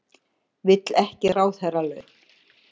Vill ekki ráðherralaun